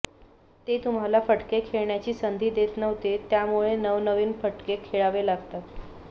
ते तुम्हाला फटके खेळण्याची संधी देत नव्हते त्यामुळे नव नविन फटके खेळावे लागतात